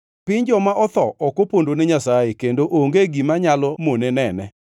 Piny joma otho ok opondo ne Nyasaye; kendo onge gima nyalo mone nene.